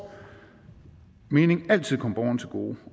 mening altid komme borgerne til gode